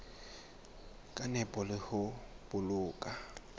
ka nepo le ho boloka